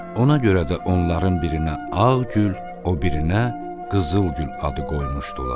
Ona görə də onların birinə Ağgül, o birinə Qızılgül adı qoymuşdular.